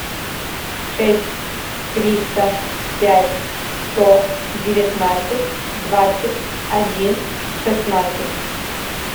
шесть триста пять сто девятнадцать двадцать один шестнадцать